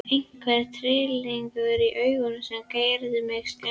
Einhver tryllingur í augunum sem gerir mig skelkaða.